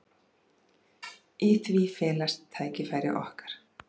Í því felast tækifæri okkar.